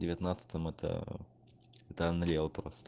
девятнадцатом это это анриал просто